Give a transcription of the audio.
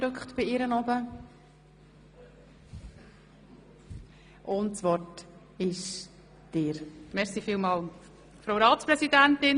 Wir führen eine freie Debatte, und ich habe gehört, dass die Motion bestritten ist.